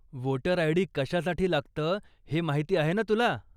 Voter ID. कशासाठी लागतं हे माहिती आहे ना तुला?